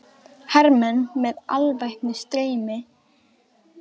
Hermenn með alvæpni streyma út í rigninguna.